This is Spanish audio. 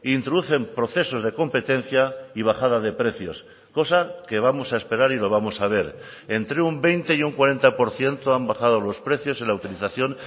introducen procesos de competencia y bajada de precios cosa que vamos a esperar y lo vamos a ver entre un veinte y un cuarenta por ciento han bajado los precios en la utilización